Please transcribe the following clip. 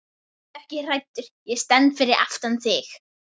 Vertu ekki hræddur, ég stend fyrir aftan þig.